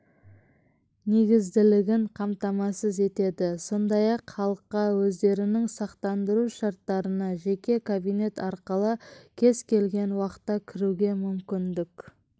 негізділігін қамтамасыз етеді сондай-ақ халыққа өздерінің сақтандыру шарттарына жеке кабинет арқылы кез-келген уақытта кіруге мүмкіндік